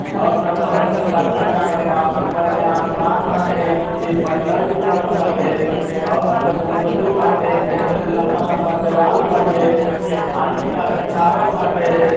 और ना त हरिहर पर्दा टाँगल बा। ऊपर मे आसमान बाटे नीचे पत्थर बिछवल बाटे। और ना त गुंबजो बाटे गुंबज लंबा-लंबा देवाल बाटे आ इंटा से छावल बांटे।